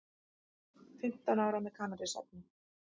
Fimmtán ára með kannabisefni